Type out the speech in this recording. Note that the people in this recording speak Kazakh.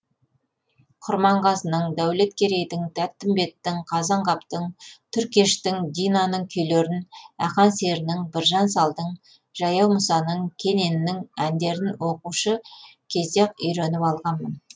құрманғазының дәулеткерейдің тәттімбеттің қазанғаптың түркештің динаның күйлерін ақан серінің біржан салдың жаяу мұсаның кененнің әндерін оқушы кезде ақ үйреніп алғанмын